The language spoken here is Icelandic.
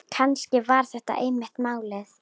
Kannski var þetta einmitt málið.